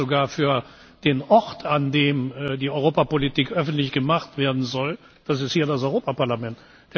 Ich halte das sogar für den Ort, an dem die Europapolitik öffentlich gemacht werden soll. Das ist hier das Europaparlament!